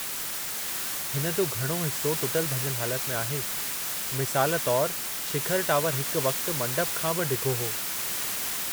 हिन जो घणो हिस्सो टुटिलु-भञलु हालति में आहे, मिसाल तौरु, शिखर टावर हिकु वक़्तु मंडप खां बि डिघो हो।